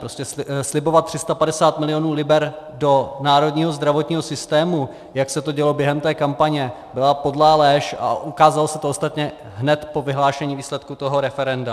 Prostě slibovat 350 milionů liber do národního zdravotního systému, jak se to dělo během té kampaně, byla podlá lež a ukázalo se to ostatně hned po vyhlášení výsledku toho referenda.